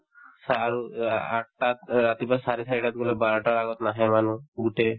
চাহ আৰু আ আঠটাত অ ৰাতিপুৱা চাৰে চাৰিটাত গলে বাৰটাৰ আগত নাহে মানুহ গোটেই